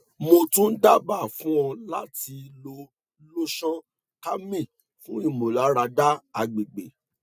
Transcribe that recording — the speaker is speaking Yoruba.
mo tun daba fun ọ lati lo lotion calmine fun imularada agbegbe